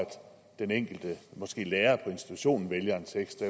den enkelte lærer på institutionen vælger en tekst